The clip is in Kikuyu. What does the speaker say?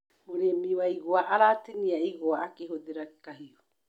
Mũrĩmi wa igwa aratinia igwa akĩhũthĩra kahiũ.